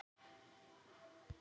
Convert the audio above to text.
Átt þú þakpappa?